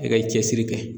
E ka cɛsiri kɛ